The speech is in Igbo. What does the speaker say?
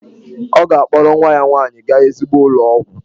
Ọ ga-akpọrọ nwa ya nwanyị gaa ezigbo ụlọ ọgwụ.